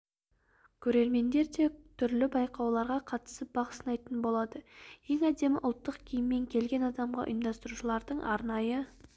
көрермендер де түрлі байқауларға қатысып бақ сынайтын болады ең әдемі ұлттық киіммен келген адамға ұйымдастырушылардың арнайы